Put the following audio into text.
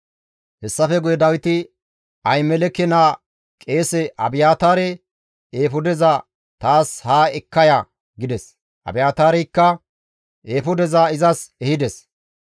Hessafe guye Dawiti Ahimeleke naa qeese Abiyaataare, «Eefudeza taas haa ekka ya» gides; Abiyaataareykka eefudeza izas ehides.